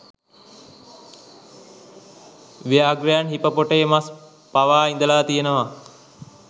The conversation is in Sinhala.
ව්‍යාඝ්‍රයන් හිපපොටේමස් පවා ඉදල තියනවා.